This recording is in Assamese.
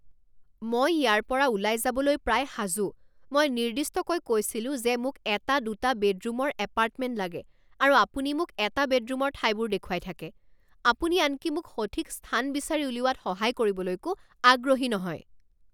মই ইয়াৰ পৰা ওলাই যাবলৈ প্ৰায় সাজু। মই নিৰ্দিষ্টকৈ কৈছিলো যে মোক এটা দুটা বেডৰুমৰ এপাৰ্টমেণ্ট লাগে আৰু আপুনি মোক এটা বেডৰুমৰ ঠাইবোৰ দেখুৱাই থাকে। আপুনি আনকি মোক সঠিক স্থান বিচাৰি উলিওৱাত সহায় কৰিবলৈকো আগ্ৰহী নহয়।